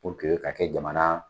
ka kɛ jamana